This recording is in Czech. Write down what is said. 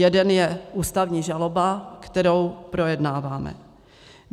Jeden je ústavní žaloba, kterou projednáváme.